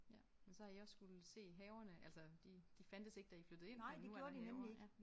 Ja men så har I også skulle se haverne altså de de fandtes ikke da I flyttede ind men nu er der haver ja